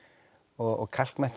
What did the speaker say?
og